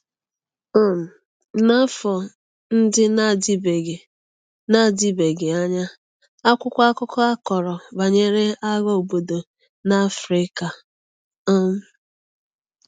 um N’afọ ndị na-adịbeghị na-adịbeghị anya, akwụkwọ akụkọ akọrọ banyere agha obodo na Africa. um